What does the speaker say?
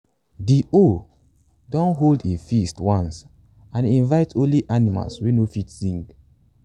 de owl don hold a feast once and e invite only animals wey no fit sing.